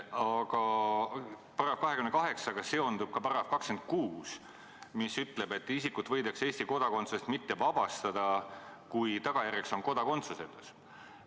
Aga §-ga 28 seondub ka § 26, mis ütleb, et isikut võidakse Eesti kodakondsusest mitte vabastada, kui tagajärjeks on kodakondsusetus.